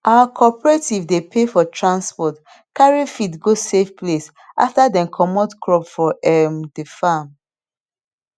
our cooperative dey pay for transport carry feed go safe place after dem comot crop for um the farm